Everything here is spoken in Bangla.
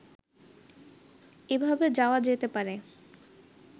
এভাবে যাওয়া যেতে পারে